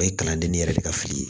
O ye kalanden yɛrɛ de ka fili ye